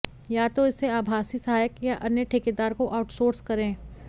या इसे आभासी सहायक या अन्य ठेकेदार को आउटसोर्स करें